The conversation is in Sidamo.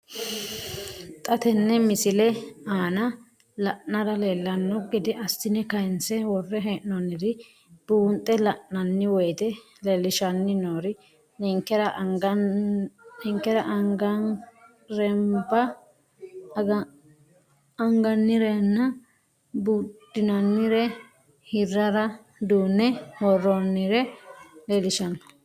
Xa tenne missile aana la'nara leellanno gede assine kayiinse worre hee'noonniri buunxe la'nanni woyiite leellishshanni noori ninkera angannirenba buudhinannire hirrara duunne worroonniha leellishshanno.